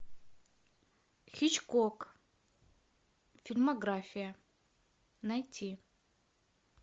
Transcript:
хичкок фильмография найти